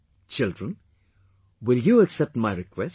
Children, will you accept my request